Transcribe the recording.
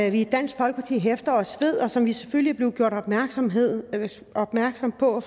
i dansk folkeparti hæfter os ved og som vi selvfølgelig er blevet gjort opmærksom opmærksom på af